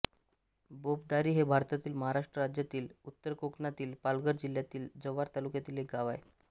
बोपदारी हे भारतातील महाराष्ट्र राज्यातील उत्तर कोकणातील पालघर जिल्ह्यातील जव्हार तालुक्यातील एक गाव आहे